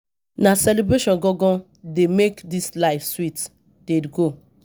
Na celebration gan gan dey make dis life dey sweet dey go.